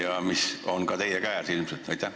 Aitäh!